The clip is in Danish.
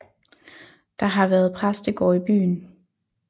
Der har været præstegård i byen